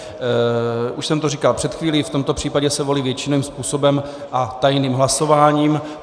Už jsem to říkal před chvílí, v tomto případě se volí většinovým způsobem a tajným hlasováním.